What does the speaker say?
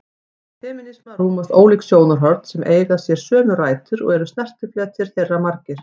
Innan femínisma rúmast ólík sjónarhorn sem eiga sér sömu rætur og eru snertifletir þeirra margir.